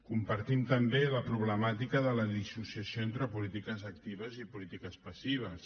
compartim també la problemàtica de la dissociació entre polítiques actives i polítiques passives